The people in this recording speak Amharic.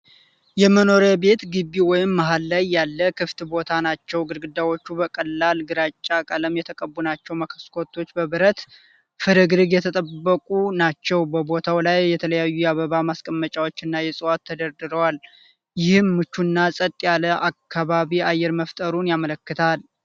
የመኖሪያ ቤት ግቢ ወይም መሀል ላይ ያለ ክፍት ቦታ ናቸው። ግድግዳዎቹ በቀላል ግራጫ ቀለም የተቀቡ ናቸው። መስኮቶቹ በብረት ፍርግርግ የተጠበቁ ናቸው። በቦታው ላይ የተለያዩ የአበባ ማስቀመጫዎችና እጽዋቶች ተደርድረዋል። ይህም ምቹና ጸጥ ያለ ከባቢ አየር መፍጠሩን ያመለክታል።